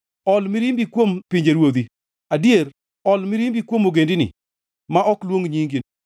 Ol mirimbi kuom pinjeruodhi, adier ol mirimbi kuom ogendini ma ok luong nyingi;